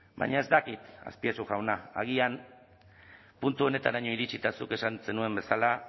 baina ez dakit azpiazu jauna agian puntu honetaraino iritsita zuk esan zenuen bezala